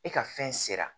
E ka fɛn sera